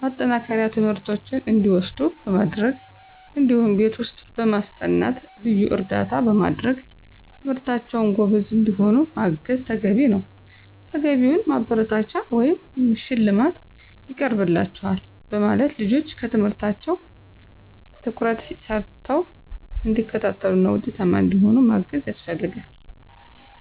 ማጠናከሪያ ትምህርቶችን እንዲወስዱ በማድረግ እዲሁም ቤት ውስጥ በማስጠናት ልዩ እርዳታ በማድረግ በትምህርታቸው ጎበዝ እንዲሆኑ ማገዝ ተገቢ ነዉ። ተገቢውን ማበረታቻ ወይም ሽልማት ይቀርብላችኋል በማለት ልጆች ትምህርታቸውን ትኩረት ሰተው እንዲከታተሉና ውጤታማ እንዲሆኑ ማገዝ ያስፈልጋል።